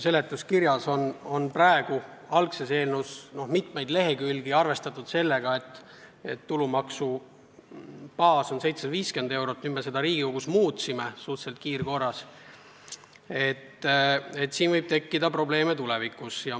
Seletuskirjas on mitmel leheküljel arvestatud sellega, et tulumaksu baas on 750 eurot, nüüd me seda Riigikogus kiirkorras muutsime ja see võib tulevikus probleeme tekitada.